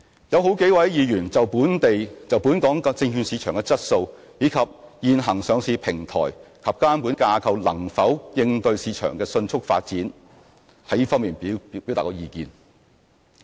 有好幾位議員就本港證券市場質素，以及現行上市平台及監管架構能否應對市場的迅速發展，表達了意見。